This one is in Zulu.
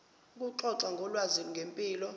ukuxoxa ngolwazi ngempilo